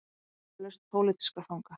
Sannfærður um lausn pólitískra fanga